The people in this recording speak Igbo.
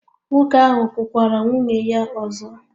Nwoke ahụ kụkwara nwunye ya ọzọ?